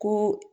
Ko